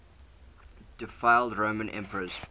deified roman emperors